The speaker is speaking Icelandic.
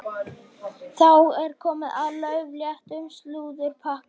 Þá er komið að laufléttum slúðurpakka.